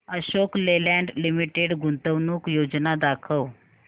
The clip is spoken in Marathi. अशोक लेलँड लिमिटेड गुंतवणूक योजना दाखव